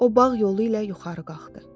O bağ yolu ilə yuxarı qalxdı.